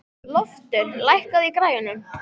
Loftur, lækkaðu í græjunum.